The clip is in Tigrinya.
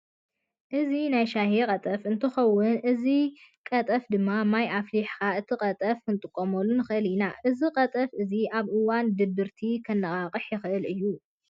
እዚ ናይ ሻሂ ቀጠፍ እንትከውን እዚ ጠፍ ድማ ማይ ኣፍሊሕካ እቲ ቀጠፍ ክንጥቀመሉ ንክእል ኢና። እዚ ቀጠፍ እዚ ኣብ እዋን ድብርቲ ከነቃቅሐና ይክእል እዩ።